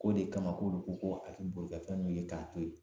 K'o de kama k'olu ko ko a ti boli ka fɛn min ye k'a to yen